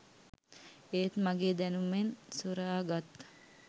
ඒත් මගෙ දැනුමෙන් සොරා ගත්